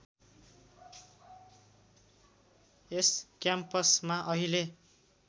यस क्याम्पसमा अहिले